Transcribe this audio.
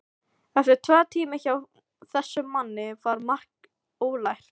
Eftir tvo tíma hjá þessum manni var margt ólært.